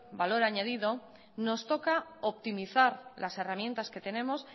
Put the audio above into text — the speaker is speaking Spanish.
valor añadido nos toca optimizar las herramientas que tenemos